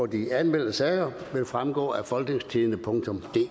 de anmeldte sager vil fremgå af folketingstidende